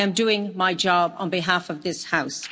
I am doing my job on behalf of this House.